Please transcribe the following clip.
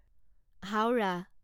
Howrah